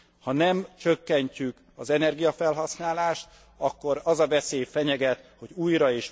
Ha nem csökkentjük az energiafelhasználást, akkor az a veszély fenyeget, hogy újra